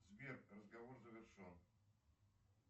сбер разговор завершен